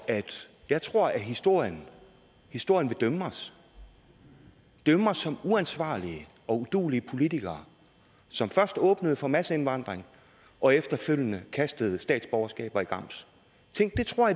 jeg tror historien historien vil dømme os dømme os som uansvarlige og uduelige politikere som først åbnede for masseindvandring og efterfølgende kastede statsborgerskaber i grams tænk det tror